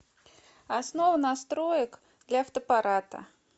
основа настроек для фотоаппарата